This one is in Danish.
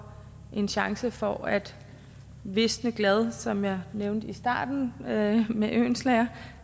en chance for at visne glad som jeg nævnte i starten med med oehlenschläger